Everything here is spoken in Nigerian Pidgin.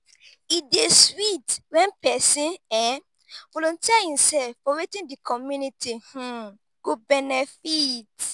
e dey sweet when pesin um volunteer himself for wetin di community um go benefit.